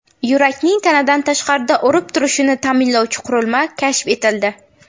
Yurakning tanadan tashqarida urib turishini ta’minlovchi qurilma kashf etildi.